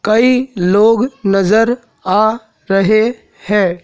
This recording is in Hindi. कई लोग नजर आ रहे हैं।